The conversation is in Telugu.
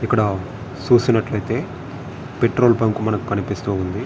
ఇక్కడ సుసినట్లైతే పెట్రోల్ బంక్ మనకి కనిపిస్థుంది--